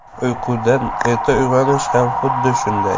Uyqudan erta uyg‘onish ham xuddi shunday.